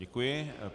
Děkuji.